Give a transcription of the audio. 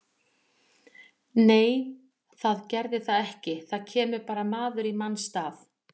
Nei það gerði það ekki, það kemur bara maður í manns stað.